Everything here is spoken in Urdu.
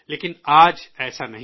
لیکن آج ایسا نہیں ہے